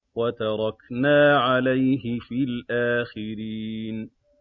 وَتَرَكْنَا عَلَيْهِ فِي الْآخِرِينَ